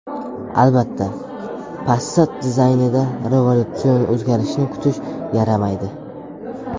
Albatta, Passat dizaynida revolyutsion o‘zgarishni kutish yaramaydi.